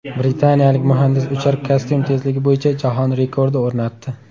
Britaniyalik muhandis uchar kostyum tezligi bo‘yicha jahon rekordi o‘rnatdi .